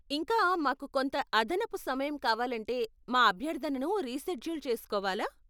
ఇంకా, మాకు కొంత అదనపు సమయం కావాలంటే మా అభ్యర్ధనను రీషెడ్యూల్ చేసుకోవాలా?